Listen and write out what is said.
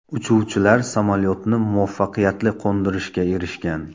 Uchuvchilar samolyotni muvaffaqiyatli qo‘ndirishga erishgan .